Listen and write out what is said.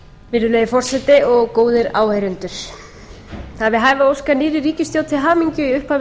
virðulegi forseti góðir áheyrendur það er við hæfi að óska nýrri ríkisstjórn til hamingju í upphafi